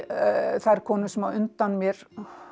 þær konur sem á undan mér